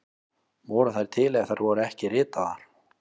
Voru þær til ef þær voru ekki ritaðar?